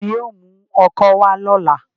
Tani yóò mu ọ́kọ wa lọla?